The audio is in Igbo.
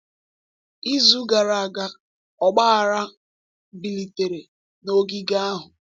Izu gara aga, ọgbaghara bilitere n’ogige ahụ.